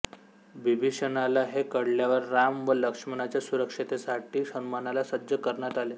बिभीषणाला हे कळल्यावर राम व लक्ष्मणाच्या सुरक्षेसाठी हनुमानाला सज्ज करण्यात आले